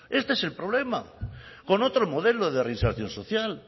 este es el problema con otro modelo de reinserción social